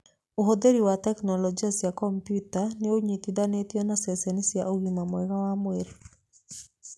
Ũhũthĩri wa tekinoronjĩ cia kompiuta nĩũnyitithanitio na ceceni cia ũgima mwega wa mũĩrĩ.